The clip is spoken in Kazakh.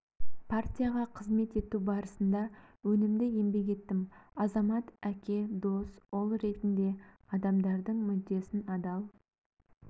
партияға қызмет ету барысында өнімді еңбек еттім азамат әке дос ұл ретінде адамдардың мүддесін адал